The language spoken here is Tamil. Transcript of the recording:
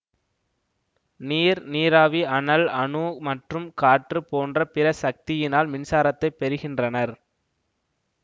நீர் நீராவி அனல் அணு மற்றும் காற்று போன்ற பிற சக்தியினால் மின்சாரத்தை பெறுகின்றனர்